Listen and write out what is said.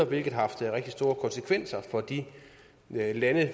hvilket har haft rigtig store konsekvenser for de lande